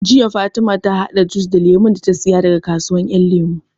Jiya Fatima ta haɗa jus da Lemun da ta saya daga kasuwar Ƴan Lemu